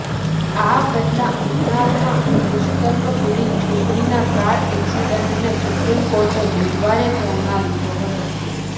આ પહેલાં ઉન્નાવમાં દુષ્કર્મ પીડિત છોકરીના કાર એક્સિડન્ટને સુપ્રીમ કોર્ટે બુધવારે ધ્યાનમાં લીધો હતો